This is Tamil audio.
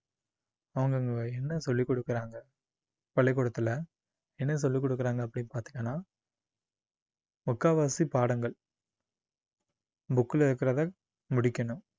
அவங்க அங்க என்ன சொல்லிக் கொடுக்குறாங்க பள்ளிக்கூடத்துல என்ன சொல்லிக் கொடுக்குறாங்க அப்படின்னு பார்த்தீங்கன்னா முக்காவாசி பாடங்கள் book ல இருக்கிறத முடிக்கணும்